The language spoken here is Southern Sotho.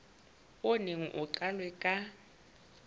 o neng o qalwe ka